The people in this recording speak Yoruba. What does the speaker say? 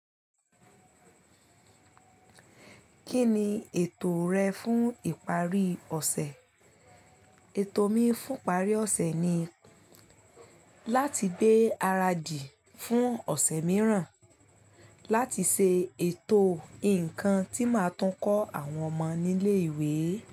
Kí ni ètò rẹ fún ìparí ọ̀sẹ̀? Ètò mi fún ìparí ọ̀sẹ̀ ni láti gbé ara di fún ọ̀sẹ̀ mìíràn, láti ṣe ètò nǹkan tí màá tún kọ́ àwọn ọmọ nílé ìwé.